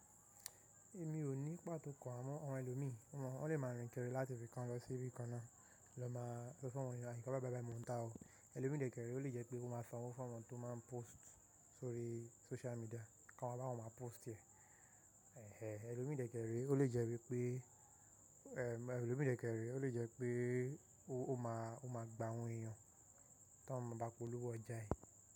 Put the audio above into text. Èmi ò ní pàtó kan àmọ awon ẹlòmíí, wọ́n lè máa rìn kiri láti ibikan lọ sí ibi kan náà, lọ máa so fún wọn ní àyíká bá ba bá mi ò ń dá o. Elòmíì dékẹrẹ o le jẹ́ pé ó máa sanwó fún awon tó máa ń post sórí social media kí wọ́n máa bá wọn máa post ẹ̀. Elòmíì dékẹrẹ o le jẹ́ wípé Elòmíì dékẹrẹ o le jẹ́ pé ó máa gba awon èèyàn tó ń máa bá polówó ọjà yìí.